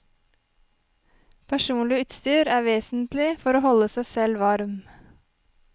Personlig utstyr er vesentlig for å holde seg selv varm.